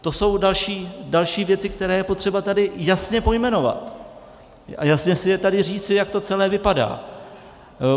To jsou další věci, které je potřeba tady jasně pojmenovat a jasně si je tady říci, jak to celé vypadá.